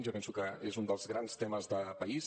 jo penso que és un dels grans temes de país